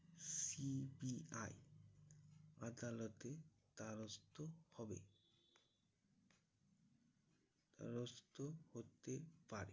CBI আদালতের দ্বারস্থ হবে। দ্বারস্থ হতে পারে